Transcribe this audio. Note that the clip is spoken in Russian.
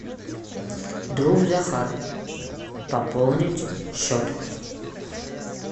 друг захар пополнить счет